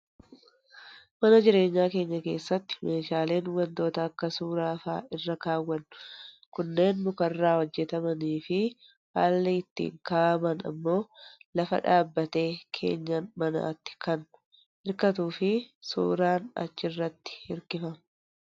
Mana jireenyaa keenya keessatti meeshaaleen wantoota akka suuraa fa'aa irra kaawwannu kanneen mukarraa hojjatamanii fi haalli ittiin kaa'aman immoo lafa dhaabbatee keenyaa manaatti kan hirkatuu fi suuraan achi irratti hirkifama.